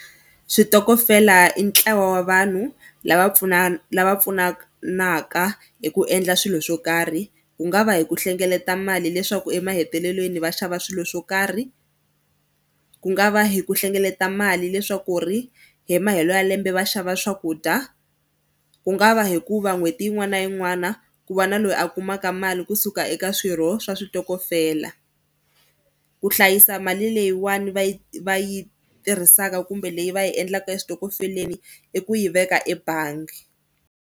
Switokofela i ntlawa wa vanhu lava lava pfunanaka hi ku endla swilo swo karhi. Ku nga va hi ku hlengeleta mali leswaku emahetelelweni va xava swilo swo karhi, ku nga va hi ku hlengeleta mali leswaku ri hi mahelo ya lembe va xava swakudya ku nga va hikuva n'hweti yin'wana na yin'wana ku va na loyi a kumaka mali kusuka eka swirho swa switokofela. Ku hlayisa mali leyiwani va yi va yi tirhisaka kumbe leyi va yi endlaka eswitokofeleni i ku yi veka ebangi.